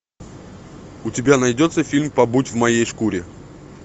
у тебя найдется фильм побудь в моей шкуре